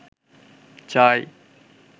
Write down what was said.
চাই